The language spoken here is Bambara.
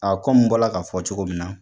A kɔmi n bɔla k'a fɔ cogo min na.